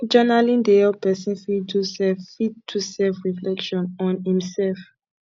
journaling dey help person fit do self fit do self reflection on im self